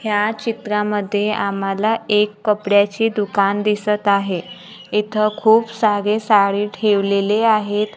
या चित्रांमध्ये आम्हाला एक कपड्याचे दुकान दिसत आहे इथं खूप सारे साडी ठेवलेले आहेत.